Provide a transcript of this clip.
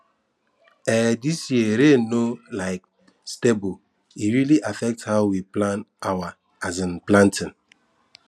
um this year rain no um stable e really affect how we plan our um planting